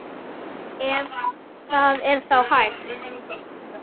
Ef það er þá hægt.